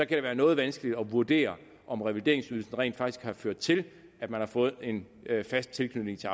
det være noget vanskeligt at vurdere om revalideringsydelsen rent faktisk har ført til at man har fået en fast tilknytning til